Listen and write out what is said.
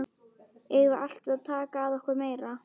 Eigum við alltaf að taka að okkur meira?